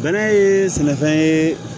Bɛnɛ ye sɛnɛfɛn ye